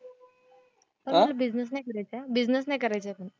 पण मला बिसिनेस नाही करायचंय, बिसिनेस नाही करायचंय.